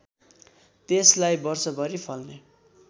त्यसलाई वर्षभरि फल्ने